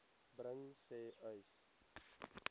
bring sê uys